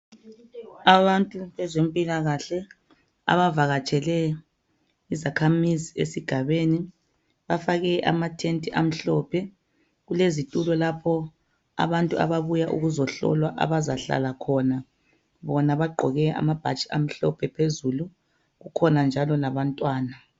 Abantu bezempilakahle abavakatshele izakhamizi esigabeni bafake amathenti amhlophe kulezitulo lapho abantu ababuya ukuzohlolwa abazahlala khona, bona bagqoke amabhatshi amhlophe phezulu kukhona njalo labantwana